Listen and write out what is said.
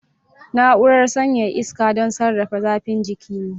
Na'urar sanyaya iska don sarrafa zafin jiki ne.